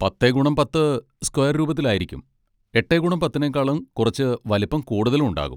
പത്തേ ഗുണം പത്ത് സ്ക്വയർ രൂപത്തിലായിരിക്കും, എട്ടേ ഗുണം പത്തിനേക്കാളും കുറച്ച് വലിപ്പം കൂടുതലും ഉണ്ടാകും.